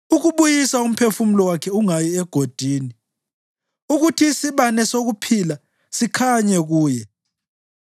ukubuyisa umphefumulo wakhe ungayi egodini, ukuthi isibane sokuphila sikhanye kuye.